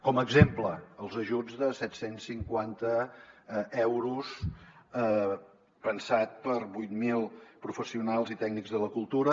com a exemple els ajuts de set cents i cinquanta euros pensats per a vuit mil professionals i tècnics de la cultura